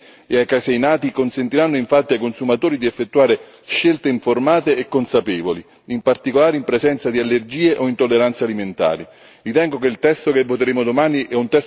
Requisiti di etichettatura relativi alle caseine e ai caseinati consentiranno infatti ai consumatori di effettuare scelte informate e consapevoli, in particolare in presenza di allergie o intolleranze alimentari.